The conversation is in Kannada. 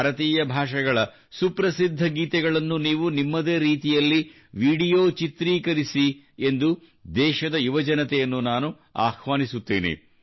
ಭಾರತೀಯ ಭಾಷೆಗಳ ಸುಪ್ರಸಿದ್ಧ ಗೀತೆಗಳನ್ನು ನೀವು ನಿಮ್ಮದೇ ರೀತಿಯಲ್ಲಿ ವಿಡಿಯೋ ಚಿತ್ರೀಕರಿಸಿ ಎಂದು ದೇಶದ ಯುವಜನತೆಯನ್ನು ನಾನು ಆಹ್ವಾನಿಸುತ್ತೇನೆ